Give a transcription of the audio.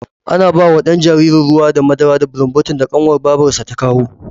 Ana bawa ɗan jaririn ruwa da madara da bulumbotin da ƙanwar babarsa ta kawo